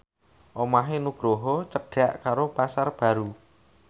omahe Nugroho cedhak karo Pasar Baru